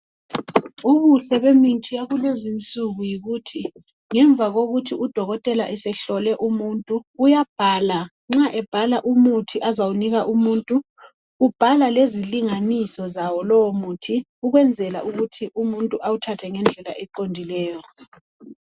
Ubuhle bemithi yakulezi insuku yikuthi ngemva kokuthi udokotela esehlole umuntu uyabhala, nxa ebhala umuthi azawunika umuntu ubhala lezilinganiso zawo lowumuthi ukwenzela ukuthi umuntu awuthathe ngendlela eqondileyo.